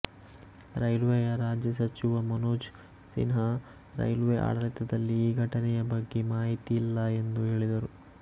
ರೈಲ್ವೆಯ ರಾಜ್ಯ ಸಚಿವ ಮನೋಜ್ ಸಿನ್ಹಾ ರೈಲ್ವೆ ಆಡಳಿತದಲ್ಲಿ ಈ ಘಟನೆಯ ಬಗ್ಗೆ ಮಾಹಿತಿ ಇಲ್ಲ ಎಂದು ಹೇಳಿದರು